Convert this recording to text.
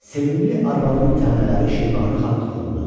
Sevimli arvadının tənələri Şeybani Xana toxundu.